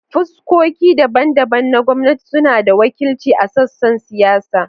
Fuskoki daban-daban na gwamnati suna da wakilci a sassan siyasa.